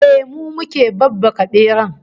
Ehh, mu muke babbaka beran